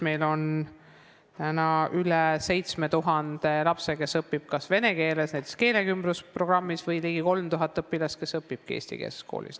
Meil on üle 7000 lapse, kes õpivad vene keeles näiteks keelekümblusprogrammis, ning ligi 3000 sellist õpilast õpivadki eestikeelses koolis.